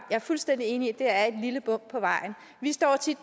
er fuldstændig enig i at det er et lille bump på vejen vi står tit